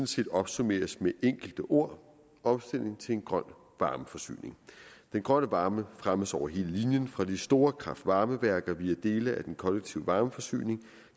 set opsummeres med enkelte ord omstilling til en grøn varmeforsyning den grønne varme fremmes over hele linjen fra de store kraft varme værker via dele af den kollektive varmeforsyning og